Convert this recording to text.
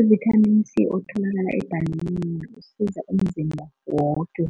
Uvithamini C otholakala ebhananeni usiza umzimba woke